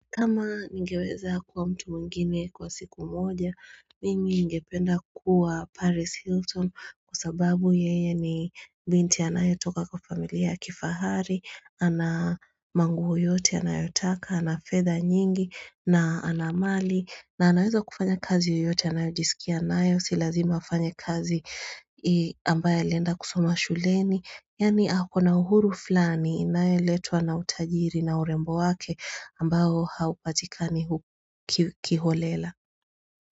Kama ningeweza kuwa mtu mwingine kwa siku moja, mimi ningependa kuwa Paris Hilton kwa sababu yeye ni binti anayotoka kwa familia ya kifahari, ana manguo yote anayotaka, anafedha nyingi, na anamali, na anaweza kufanya kazi yoyote, anayojisikia anayo, silazima afanye kazi ambaye alienda kusoma shuleni. Yani ako na uhuru fulani inayeletwa na utajiri na urembo wake ambao haupatika kiholela.